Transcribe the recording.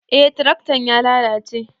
Eh tiraktan ya lalace